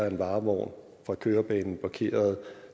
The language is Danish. en varevogn på kørebanen blokerede